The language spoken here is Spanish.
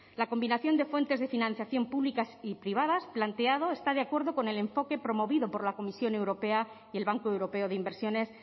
la combinación de fuentes de financiación públicas y privadas planteada está de acuerdo con el enfoque promovido por la comisión europea y el banco europeo de inversiones